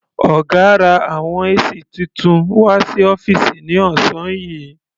Ọ̀gá ra àwọn AC titun wà sí ọ́fìsì ní ọ̀sán yìí.